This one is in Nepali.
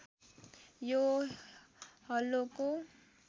यो हलोको